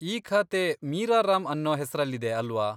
ಈ ಖಾತೆ ಮೀರಾ ರಾಮ್ ಅನ್ನೋ ಹೆಸ್ರಲ್ಲಿದೆ ಅಲ್ವಾ?